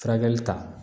Furakɛli ta